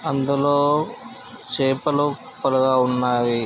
అందులో చేపలు కుప్పలుగా ఉన్నాయి.